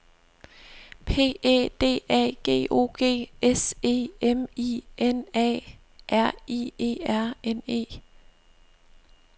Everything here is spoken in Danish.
P Æ D A G O G S E M I N A R I E R N E